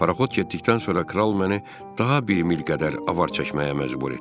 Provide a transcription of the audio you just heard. Parxod getdikdən sonra Kral məni daha bir mil qədər avar çəkməyə məcbur etdi.